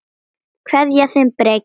Kveðja, þinn Breki.